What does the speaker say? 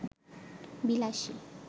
বিলাসী